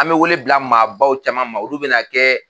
An be wele bila maabaw caman ma ,olu be na kɛ